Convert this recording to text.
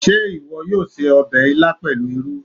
Ṣé ìwọ yóò se ọbẹ̀ ilá pẹ̀lú irú?